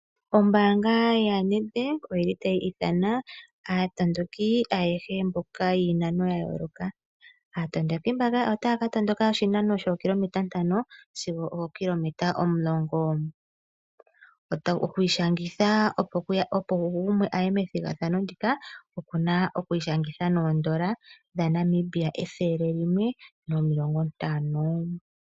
Ombaanga yaNedbank otayi ithana aatondoki ayehe mboka yiinano ya yooloka. Aatondoki mbaka otaya ka tondoka oshinano shookilometa ntano sigo ookilometa omulongo. Oku ishangitha opo wu kuthe ombinga methigathano ndika oku na oodola dhaNamibia ethele limwe nomilongo ntano (N$ 150.00)